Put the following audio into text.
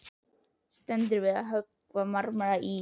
Stendur við að höggva marmara í